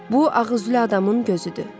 Bu ağ üzlü adamın gözüdür.